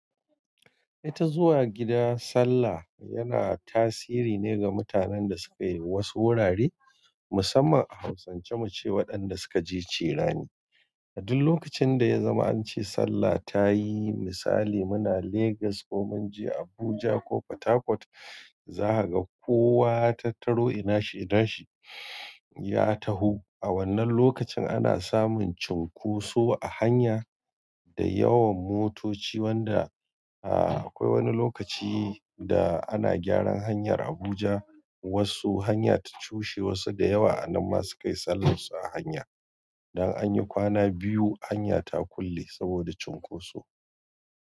Ita zuwa gida sallah yana tasiri ne ga mutanen da suke wasu wurare musamman a hausance muce waɗanda suka je cirani. A duk lokacin da ya zama an ce sallah ta yi misali muna Legas ko mun je Abuja ko Port Harcourt za ka ga kowa ya tattaro ina shi ina shi ya taho. A wannan lokacin ana samun cunkoso a hanya da yawan motoci wanda, a-a akwai wani lokaci da ana gyaran hanyar Abuja wasu hanya ta cushe wasu da yawa a nan masu kai sallarsu a hanya. Dan an yi kwana biyu hanya ta kulle saboda cunkoso.